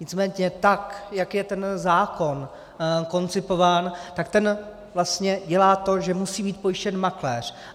Nicméně tak jak je ten zákon koncipován, tak ten vlastně dělá to, že musí být pojištěn makléř.